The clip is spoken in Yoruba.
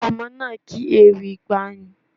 Ọmọ náà ké ewì ìgbàanì.